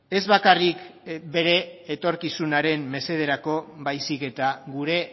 ez bakarrik bere etorkizunaren mesederako baizik eta gure